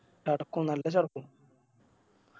ചടക്കും നല്ല ചടക്കും